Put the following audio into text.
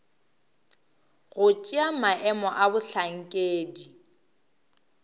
go tšea maemo a bohlankedi